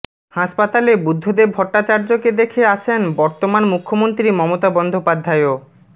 হাসপাতালে বুদ্ধদেব ভট্টাচার্যকে দেখে আসেন বর্তমান মুখ্যন্ত্রী মমতা বন্দ্যোপাধ্যায়ও